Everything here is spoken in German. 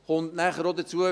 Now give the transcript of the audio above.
Dann kommt noch hinzu: